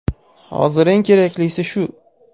Hozir eng keraklisi shu.